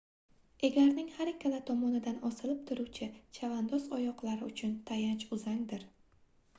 egarning har ikkala tomonidan osilib turuvchi chavandoz oyoqlari uchun tayanch uzangdir